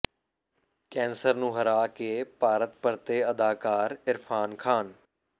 cancer ਨੂੰ ਹਰਾ ਕੇ ਭਾਰਤ ਪਰਤੇ ਅਦਾਕਾਰ ਇਰਫਾਨ ਖਾਨ